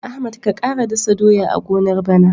Ahmad ka ƙara dasa doya a gonar bana.